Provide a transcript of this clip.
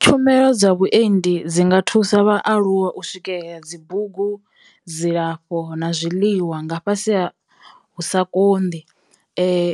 Tshumelo dza vhuendi dzi nga thusa vhaaluwa u swikela dzi bugu, dzilafho, na zwiḽiwa nga fhasi sa ha hu sa konḓi. Zwi,